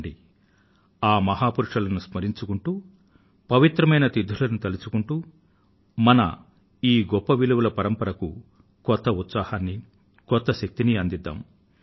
రండి ఆ మహా పురుషులను స్మరించుకుంటూ పవిత్రమైన తిథులను తలుచుకుంటూ మన ఈ గొప్ప విలువల పరంపరకు కొత్త ఉత్సాహాన్ని కొత్త శక్తిని అందిద్దాం